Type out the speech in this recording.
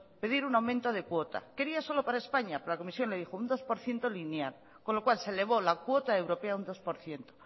pedir un aumento de cuota quería solo para españa pero la comisión le dijo un dos por ciento lineal con lo cual se elevó la cuota europea un dos por ciento